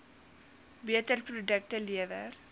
beter produkte lewer